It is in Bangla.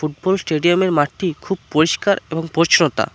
পুরো স্টেডিয়াম -এর মাঠটি খুব পরিষ্কার এবং পরিচ্ছন্নতা ।